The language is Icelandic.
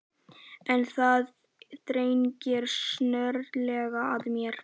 En það þrengir snögglega að mér.